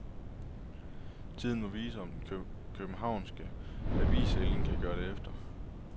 Tiden må vise, om den københavnske avisælling kan gøre det efter.